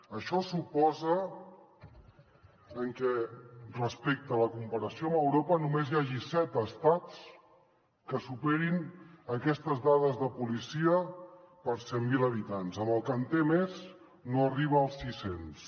això suposa que respecte a la comparació amb europa només hi hagi set estats que superin aquestes dades de policia per cent mil habitants on el que en té més no arriba als sis cents